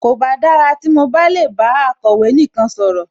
Kòbá dára tí mo bá lè bá akọ̀wé nìkan sọ̀rọ̀